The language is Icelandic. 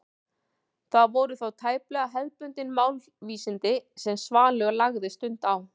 Það voru þó tæplega hefðbundin málvísindi sem Svanur lagði stund á.